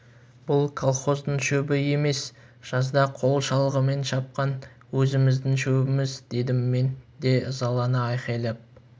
бұл колхоздың шөбі емес жазда қол шалғымен шапқан өзіміздің шөбіміз дедім мен де ызалана айқайлап